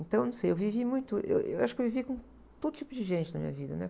Então, não sei, eu vivi muito, eu, eu acho que eu vivi com todo tipo de gente na minha vida, né?